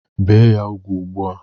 Bee ya ugwu kịta!